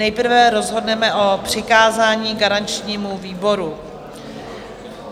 Nejprve rozhodneme o přikázání garančnímu výboru.